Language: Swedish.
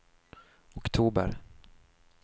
oktober